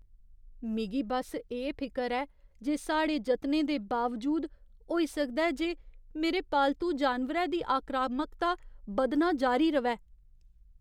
मिगी बस्स एह् फिकर ऐ जे साढ़े जतनें दे बावजूद, होई सकदा ऐ जे मेरे पालतू जानवरै दी आक्रामकता बधना जारी र'वै।